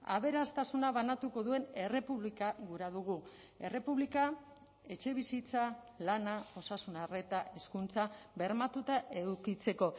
aberastasuna banatuko duen errepublika gura dugu errepublika etxebizitza lana osasun arreta hezkuntza bermatuta edukitzeko